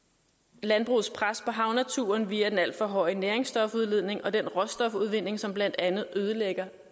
landbrugets pres på havnaturen via den alt for høje næringsstofudledning og den råstofudvinding som blandt andet ødelægger